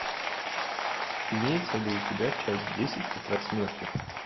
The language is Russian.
имеется ли у тебя часть десять тетрадь смерти